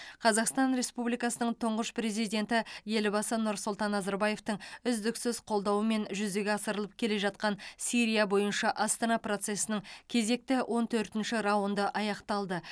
қазақстан республикасының тұңғыш президенті елбасы нұрсұлтан назарбаевтың үздіксіз қолдауымен жүзеге асырылып келе жатқан сирия бойынша астана процесінің кезекті он төртінші раунды аяқталды